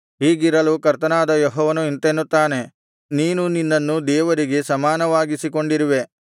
ಹೀಗಿರಲು ಕರ್ತನಾದ ಯೆಹೋವನು ಇಂತೆನ್ನುತ್ತಾನೆ ನೀನು ನಿನ್ನನ್ನು ದೇವರಿಗೆ ಸಮಾನವಾಗಿಸಿಕೊಂಡಿರುವೆ